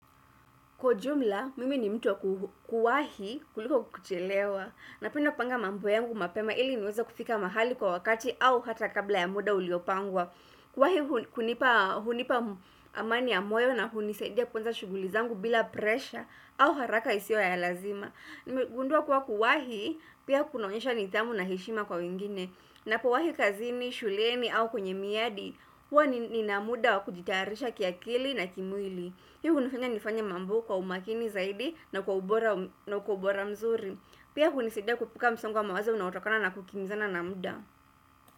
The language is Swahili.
Kwa ujumla, mimi ni mtu wa kuwahi kuliko kuchelewa napenda kupanga mambo yangu mapema ili niweza kufika mahali kwa wakati au hata kabla ya muda uliopangwa. Kuwahi hunipa amani ya moyo na hunisaidia kuanza shughuli zangu bila presha au haraka isiyo ya lazima. Nimegundua kuwa kuwahi pia kunaonyesha nidhamu na heshima kwa wengine ninapowahi kazini, shuleni au kwenye miadi, huwa nina muda wakujitayarisha kiakili na kimwili. Hii hunifanya nifanye mambo kwa umakini zaidi na kwa ubora mzuri. Pia hunisida kuepuka msongo wa mawazo unautokana na kukimbizana na muda.